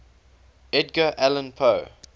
edgar allan poe